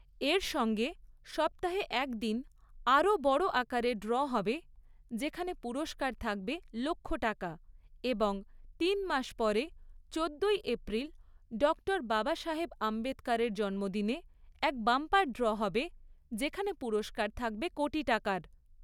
এর সঙ্গে সপ্তাহে এক দিন আরও বড় আকারে ড্র হবে, যেখানে পুরস্কার থাকবে লক্ষ টাকা এবং তিন মাস পরে চোদ্দোই এপ্রিল ডক্টর বাবাসাহেব আম্বেদকরের জন্মদিনে এক বাম্পার ড্র হবে, যেখানে পুরস্কার থাকবে কোটি টাকার।